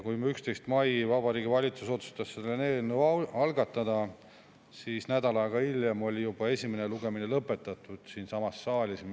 Kui 11. mail Vabariigi Valitsus otsustas selle eelnõu algatada, siis nädal aega hiljem oli juba esimene lugemine lõpetatud, siinsamas saalis.